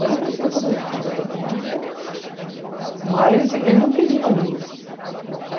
Mas eu conhecia toda a gente que é velha do bairro, então... Mas, assim, eles não queriam luz.